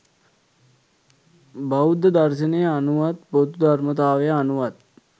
බෞද්ධ දර්ශනය අනුවත් පොදු ධර්මතාවය අනුවත්,